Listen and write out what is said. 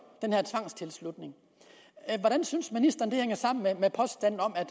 den her tvangstilslutning hvordan synes ministeren det hænger sammen med at